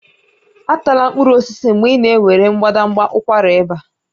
Atala mkpụrụ osisi mgbe ị na-ewere mbadamba ụkwara ịba